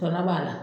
Bana b'a la